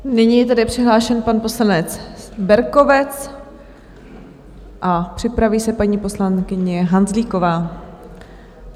Nyní je tedy přihlášen pan poslanec Berkovec a připraví se paní poslankyně Hanzlíková.